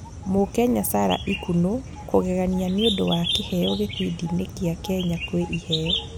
Mũkenya Sarah Ikunu kũgegania nĩũndũ wa kĩheo gĩbindi-inĩ gĩa Kenya kwĩ iheo